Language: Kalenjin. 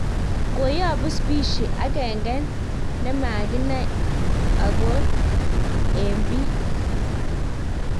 Koyapung spishi ageng ne nimakinang okong eng pik.